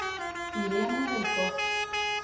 Irene Haukås